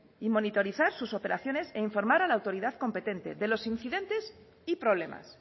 y monitorizar sus operaciones e informar a la autoridad competente de los incidentes y problemas